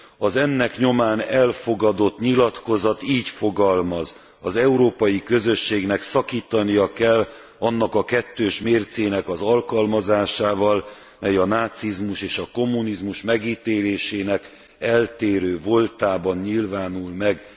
Az ennek nyomán elfogadott nyilatkozat így fogalmaz az Európai Közösségnek szakítania kell annak a kettős mércének az alkalmazásával, mely a nácizmus és a kommunizmus megítélésének eltérő voltában nyilvánul meg.